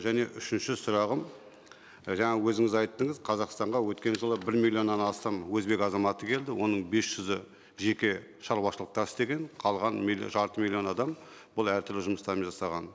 және үшінші сұрағым жаңа өзіңіз айттыңыз қазақстанға өткен жылы бір миллионнан астам өзбек азаматы келді оның бес жүзі жеке шаруашылықта істеген қалғаны жарты миллион адам бұл әртүрлі жұмыстармен жасаған